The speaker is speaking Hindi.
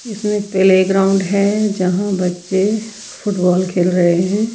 इसमें प्ले ग्राउंड है जहां बच्चे फुटबॉल खेल रहे हैं।